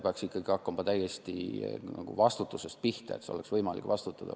Peaks ikkagi hakkama täiesti vastutusest pihta, sellest, et oleks võimalik vastutada.